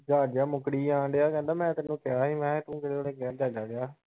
ਜਹਾਜ਼ ਜਿਹਾ ਮੁਕਰੀ ਜਾਣ‌ ਦਿਆ ਕਹਿੰਦਾ ਮੈਂ ਤੈਨੂੰ ਕਿਹਾ ਸੀ ਮੈਂ ਕਿਹਾ ਤੂੰ ਕਿਹੜੇ ਵੇਲੇ ਕਿਹਾ ਜਹਾਜ਼ਾਂ ਜਿਹਾ।